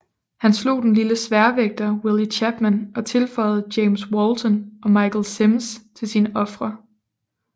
Han slog den lille sværvægter Willie Chapman og tilføjede James Walton og Michael Simms til sine ofre